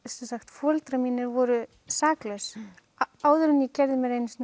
foreldrar mínir voru saklaus áður en ég gerði mér einu sinni